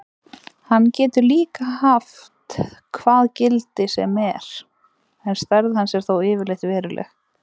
Hann getur líka haft hvað gildi sem er en stærð hans er þó yfirleitt veruleg.